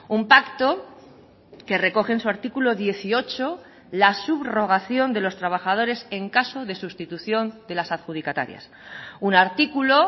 un pacto que recoge en su artículo dieciocho la subrogación de los trabajadores en caso de sustitución de las adjudicatarias un artículo